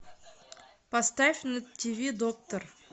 поставь на тв доктор